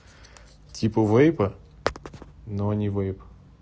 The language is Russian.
типа вейпа но они вейп